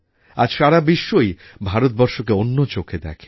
আজ সারা বিশ্বই ভারতবর্ষকে অন্য চোখে দেখে